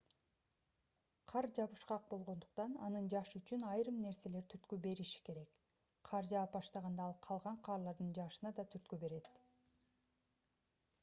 кар жабышкак болгондуктан анын жаашы үчүн айрым нерселер түрткү бериши керек кар жаап баштаганда ал калган карлардын жаашына да түрткү берет